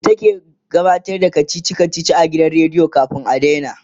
ita ke ta gabatar da kachichi kachichin a gidan rediyo kamin a daina